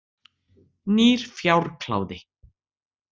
Nýr fjárkláði.